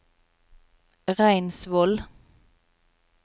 Reinsvoll